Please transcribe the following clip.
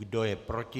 Kdo je proti?